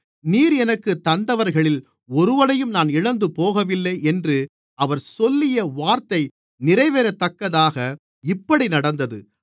நீர் எனக்குத் தந்தவர்களில் ஒருவனையும் நான் இழந்து போகவில்லை என்று அவர் சொல்லிய வார்த்தை நிறைவேறத்தக்கதாக இப்படி நடந்தது